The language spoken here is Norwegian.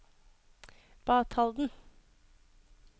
Batalden